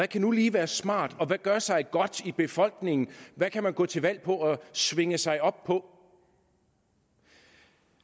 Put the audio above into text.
kan nu lige være smart hvad gør sig godt i befolkningen hvad kan man gå til valg på og svinge sig op på